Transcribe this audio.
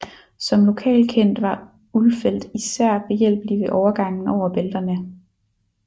Som lokalkendt var Ulfeldt især behjælpelig ved overgangen over bælterne